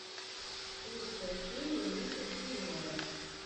лучшая серия ника джуниора